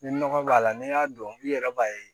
Ni nɔgɔ b'a la n'i y'a dɔn i yɛrɛ b'a ye